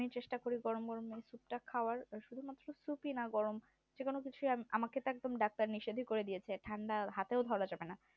আমি চেষ্টা করি গরম গরম খাওয়ার আমাকে তো একদম doctor এ নিষেধ করেছে ঠান্ডা হাতেও ধরা যাবে না